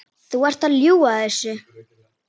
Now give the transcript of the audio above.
Þú ert að ljúga þessu!